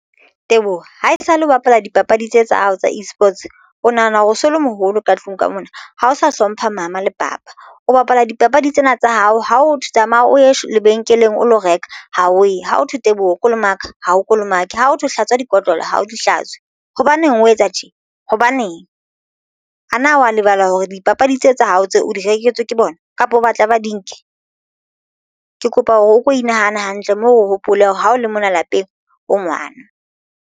Teboho haesale o bapala dipapadi tse tsa hao tsa eSports o nahana hore o so le moholo ka tlung ka mona ha o sa hlompha mama le papa o bapala dipapadi tsena tsa hao. Ha o tsamaya o ye lebenkeleng o lo reka ha o e ha ho thwe Teboho kolomaka ha o kolomake ha ho hlatswa dikotlolo ha o di hlatswe. Hobaneng o etsa tje? Hobaneng ana wa lebala hore dipapadi tse tsa hao tse o di reketswe ke bona kapa o batla ba di nke? Ke kopa hore o ko inahane hantle moo o hopole hore ha o le mona lapeng o ngwana.